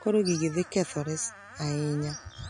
koro gigi dhi kethore sa ahinya.